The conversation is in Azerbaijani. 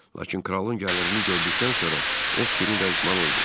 Lakin kralın gəlirini gördükdən sonra o fikrini dəyişməli oldu.